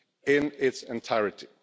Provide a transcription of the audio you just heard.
in its entirety,